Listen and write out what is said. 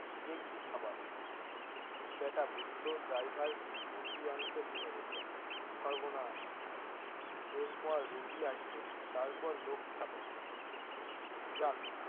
যে কি খাবার বেটা বুদ্ধ ড্রাইভার রুটি আনতে ভুলে গেছেন সর্বনাশ এর পর রুটি আসবে তার পর লোক খাবে যাক।